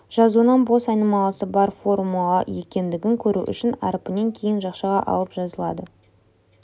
жазуынан бос айнымалысы бар формула екендігін көру үшін әрпінен кейін жақшаға алынып жазылады